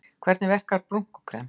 Hvernig verkar brúnkukrem?